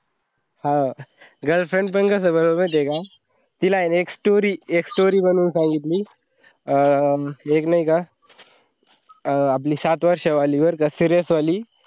अह girlfriend पण कसा बनवला महिती हे का? तिला आहेना एक story एक story बनून सांगली अं एक नाई का अं आपली सात वर्ष वाली बरका serious वाली